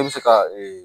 E bɛ se ka ee